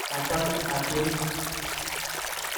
Achame atieni